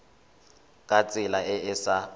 ka tsela e e sa